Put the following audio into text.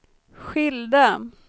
skilda